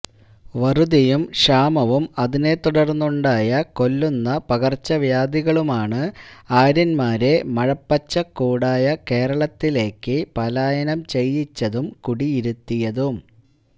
വറുതിയും ക്ഷാമവും അതിനെത്തുടർന്നുണ്ടായ കൊല്ലുന്ന പകർച്ചവ്യാധികളുമാണ് ആര്യൻമാരെ മഴപ്പച്ചക്കൂടായ കേരളത്തിലേക്ക് പലായനം ചെയ്യിച്ചതും കുടിയിരുത്തിയതും